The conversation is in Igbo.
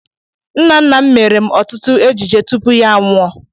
Nna nna m meere m ọtụtụ ejije tupu ya anwụọ.